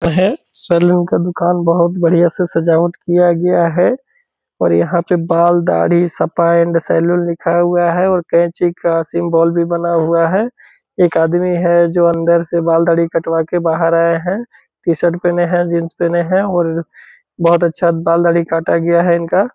है सेलून का दुकान बहुत बढ़िया से सजावट किया गया है और यहाँ पे बाल दाढ़ी सपा एंड सैलून लिखा हुआ है और कैंची का सिम्बोल भी बना हुआ है | एक आदमी है जो अन्दर से बाल दाढ़ी कटवा के बाहर आया है | टी-शर्ट पहिने है जीन्स पहिने है और बहुत अच्छा बाल दाढ़ी काटा गया है इनका |